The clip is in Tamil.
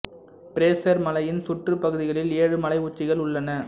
பிரேசர் மலையின் சுற்றுப் பகுதிகளில் ஏழு மலை உச்சிகள் உள்ளன